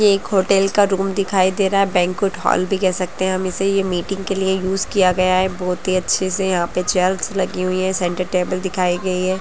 ये एक होटल का रूम दिखाई दे रहा है बैंक्वेट हॉल भी कह सकते है हम इसे ये मीटिंग के लिए यूज किया गया है बहुत ही अच्छे से यहाँ पे चेयर्स लगी हुई हैं सेंटर टेबल दिखाई गई हैं।